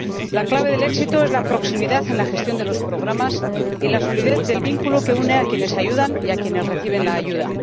La clave del éxito es la proximidad en la gestión de los programas y la solidez del vínculo que une a quienes ayudan y a quienes reciben la ayuda.